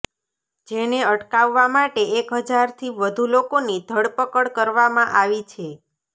જેને અટકાવવા માટે એક હજારથી વધુ લોકોની ધરપકડ કરવામાં આવી છે